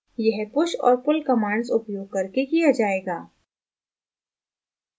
यह push और pull commands उपयोग करके किया जायेगा